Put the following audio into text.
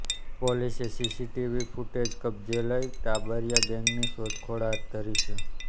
પોલીસે CCTV footage કબ્જે લઇ ટાબરિયા ગેંગની શોધખોળ હાથ ધરી છે